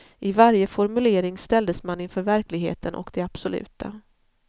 I varje formulering ställdes man inför verkligheten och det absoluta.